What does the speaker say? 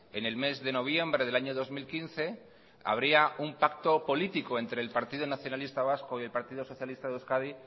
en el mes de noviembre del año dos mil quince habría un pacto político entre el partido nacionalista vasco y el partido socialista de euskadi